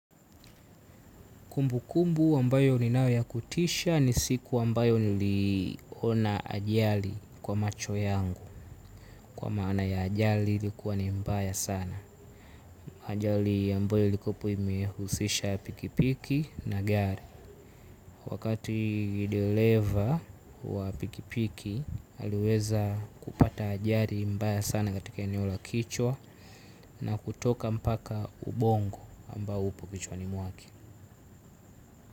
Kumbukumbu ambayo ninayo ya kutisha ni siku ambayo niliona ajali kwa macho yangu kwa maana ya ajali ilikuwa ni mbaya sana. Ajali ambayo ilikuwa hapo imehusisha pikipiki na gari. Wakati dereva wa pikipiki aliweza kupata ajali mbaya sana katika eneo la kichwa na kutoka mpaka ubongo ambao upo kichwani mwake.